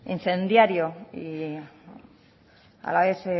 incendiario y a la vez